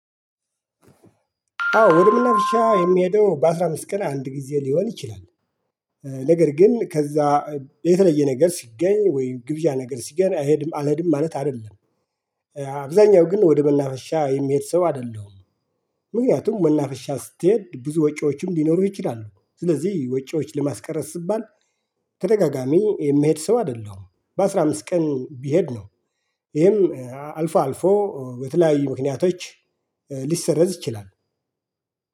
አዎ ወደ መናፈሻ የሚሄደው በአሥራ አምስት ቀን አንድ ጊዜ ሊሆን ይችላል፤። ነገር ግን ከዛ የተለየ ነገር ሲገኝ ወይ ግብዣ ነገር ሲገኝ አልሄድም አልሄድም ማለት አይደለም። አብዛኛው ግን ወደ መናፈሻ የሚሄድ ሰው አይደለም። ምክንያቱም መናፈሻ ስትሄድ ብዙ ወጪዎችም ሊኖሩህ ይችላሉ ስለዚህ ወጪዎች ለማስቀረት ሲባል ተደጋጋሚ የሚሄድ ሰው አይደለሁም። በአስራ አምስት ቀን ብሄድ ነው። ይሄም አልፎ አልፎ በተለያዩ ምክንያቶች ሊሰረዝ ይችላል።